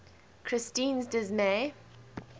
christine s dismay